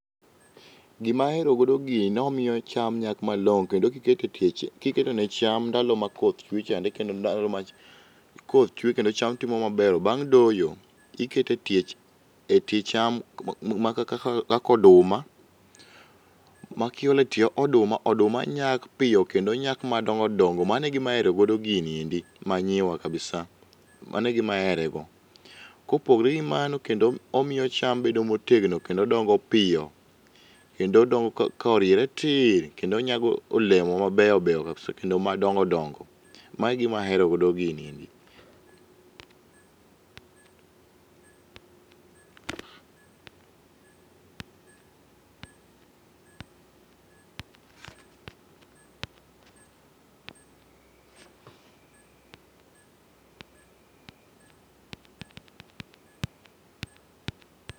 Gima ahero godo gini en ni omiyo cham nyak malong'o kendo ka iketo e tie cham ndalo ma koth chwe kendo cham imo maber bang' doyo ikete e tie cham e tie cham ma kaka oduma makiolo e tie oduma oduma nyak piyo kendo nyak madongo dongo mano e gima ahero godo gini manyiwa kabisa mano e gima ahere go. Kopogore kod mano omiyo cham bedo motegno kendo dongo piyo kendo dongo koriere tir kendo nyago olemo mabeyo beyo kendo madongo dongo. Mago e gima ahero godo gini.